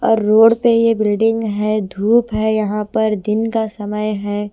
और रोड पे ये बिल्डिंग है धूप है यहाँ पर दिन का समय है।